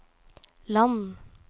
land